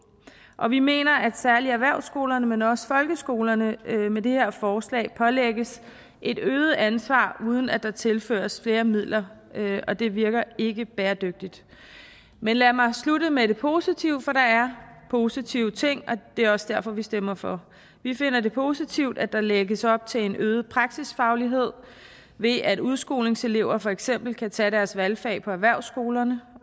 og vi mener at særlig erhvervsskolerne men også folkeskolerne med det her forslag pålægges et øget ansvar uden at der tilføres flere midler og det virker ikke bæredygtigt men lad mig slutte med det positive for der er positive ting og det er også derfor vi stemmer for vi finder det positivt at der lægges op til en øget praksisfaglighed ved at udskolingselever for eksempel kan tage deres valgfag på erhvervsskolerne